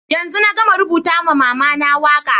Yanzun na gama rubuta ma mama na waka.